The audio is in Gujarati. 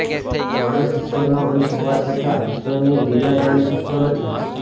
માણસ ઇશ્વરનો અંશ હોવા છતાં ઇશ્વરની લીલા જાણી શકતો નથી